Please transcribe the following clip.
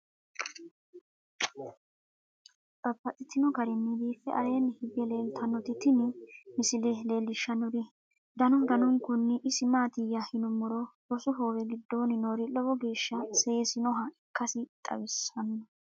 Babaxxittinno garinni biiffe aleenni hige leelittannotti tinni misile lelishshanori danu danunkunni isi maattiya yinummoro rosu hoowe gidoonni noori lowo geeshsha seesinoha ikkassi xawissanno